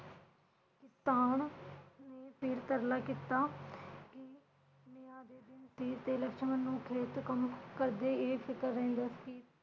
ਕਿਸਾਨ ਨੇ ਫਿਰ ਤਰਲਾ ਕੀਤਾ ਕਿ ਦੇ ਦਿਨ ਸੀ ਲਕਸ਼ਮਣ ਨੂੰ ਖੇਤਕੰਮ ਕਰਦਿਆਂ ਇਹ ਫਿਕਰ ਰਹਿੰਦਾ ਸੀ।